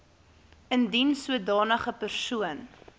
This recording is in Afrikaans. indien sodanige persoon